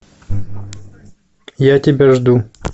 я тебя жду